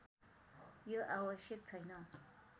यो आवश्यक छैन